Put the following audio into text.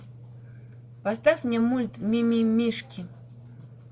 поставь мне мульт мимимишки